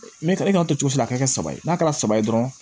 Ne ka e ka to si la a ka kɛ saba ye n'a kɛra saba ye dɔrɔn